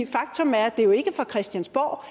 faktum er at det jo ikke er fra christiansborgs